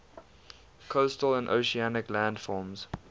coastal and oceanic landforms